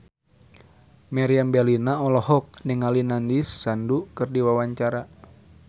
Meriam Bellina olohok ningali Nandish Sandhu keur diwawancara